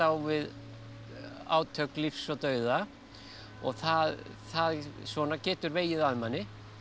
við átök lífs og dauða það það svona getur vegið að manni